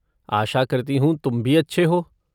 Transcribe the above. आशा करती हूँ तुम भी अच्छे हो!